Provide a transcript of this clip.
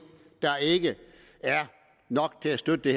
der ikke er nok til at støtte det